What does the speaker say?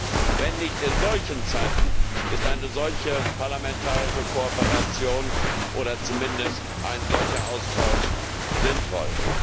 Wann, wenn nicht in solchen Zeiten, ist eine solche parlamentarische Kooperation oder zumindest ein solcher Austausch sinnvoll?